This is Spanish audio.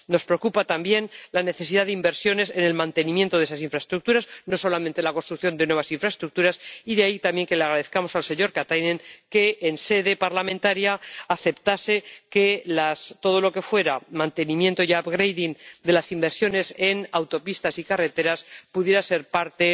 Nos preocupa también la necesidad de inversiones en el mantenimiento de esas infraestructuras, no solamente la construcción de nuevas infraestructuras, y de ahí también que le agradezcamos al señor Katainen que, en sede parlamentaria, aceptase que toda la inversión relacionada con el mantenimiento y el upgrading de las autopistas y carreteras pudiera ser parte